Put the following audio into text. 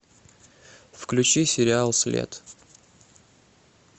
включи сериал след